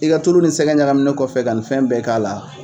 I ka tulu ni sɛgɛ ɲagaminen kɔfɛ ka nin fɛn bɛɛ k'a la